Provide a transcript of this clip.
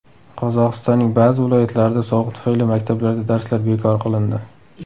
Qozog‘istonning ba’zi viloyatlarida sovuq tufayli maktablarda darslar bekor qilindi.